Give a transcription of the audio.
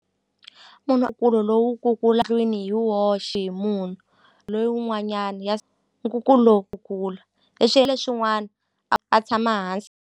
Munhu lowu kukula ndlwini hi woxe hi munhu loyi wun'wanyana ya nkukulu lowu kukula hi xiya leswin'wana a a tshama hansi.